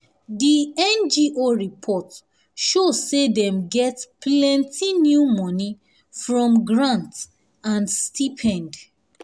di ngo report show say dem get plenty new money from grant and stipend.